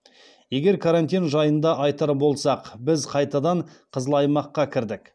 егер карантин жайында айтар болсақ біз қайтадан қызыл аймаққа кірдік